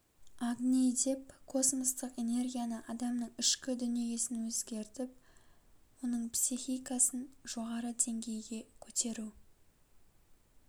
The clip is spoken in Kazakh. агни деп космостық энергияны адамның ішкі дүниесін өзгертіп оның психикасын жоғары деңгейге көтеру